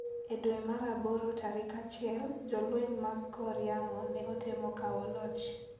E dwe mar aboro tarik achiel, Jolweny mag kor yamo ne otemo kawo loch.